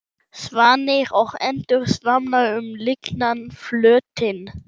Svanir og endur svamla um lygnan flötinn.